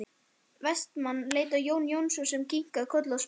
Vestmann leit á Jón Jónsson sem kinkaði kolli og spurði